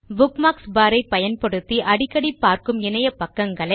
bookmarks bar ஐ பயன்படுத்தி அடிக்கடி பார்க்கும் இணையபக்கங்களை